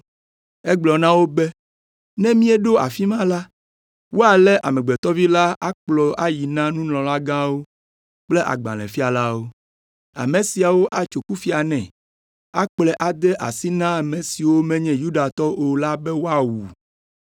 Egblɔ na wo be, “Ne míeɖo afi ma la, woalé Amegbetɔ Vi la akplɔ ayi na nunɔlagãwo kple agbalẽfialawo. Ame siawo atso kufia nɛ, akplɔe ade asi na ame siwo menye Yudatɔwo o la be woawu.